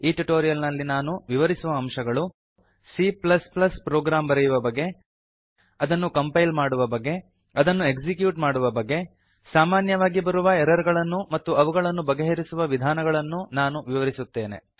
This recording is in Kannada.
ಈ ಟ್ಯುಟೋರಿಯಲ್ ನಲ್ಲಿ ನಾನು ವಿವರಿಸುವ ಅಂಶಗಳು ಸಿ ಪ್ಲಸ್ ಪ್ಲಸ್ ಸಿಎ ಪ್ರೊಗ್ರಾಮ್ ಬರೆಯುವ ಬಗೆ ಅದನ್ನು ಕಂಪೈಲ್ ಮಾಡುವ ಬಗೆ ಅದನ್ನು ಎಕ್ಸಿಕ್ಯೂಟ್ ಮಾಡುವ ಬಗೆ ಸಾಮಾನ್ಯವಾಗಿ ಬರುವ ಎರರ್ ಗಳನ್ನೂ ಮತ್ತು ಅವುಗಳನ್ನು ಬಗೆಹರಿಸುವ ವಿಧಾನಗಳನ್ನೂ ನಾನು ವಿವರಿಸುತ್ತೇನೆ